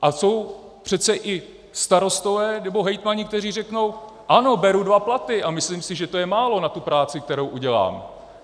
A jsou přece i starostové nebo hejtmani, kteří řeknou: Ano, beru dva platy, a myslím si, že je to málo na tu práci, kterou udělám.